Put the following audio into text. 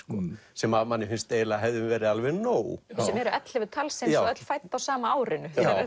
sem manni finnst að hefði verið alveg nóg sem eru ellefu talsins og öll fædd á sama árinu